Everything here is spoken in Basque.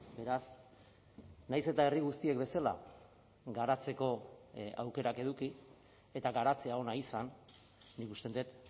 beraz nahiz eta herri guztiek bezala garatzeko aukerak eduki eta garatzea ona izan nik uste dut